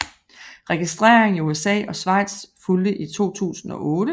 Registrering i USA og Schweiz fulgte i 2008